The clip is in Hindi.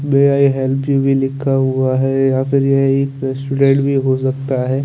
मे आई हेल्प यू भी लिखा हुआ है यहां पर ये एक स्टूडेंट भी हो सकता है।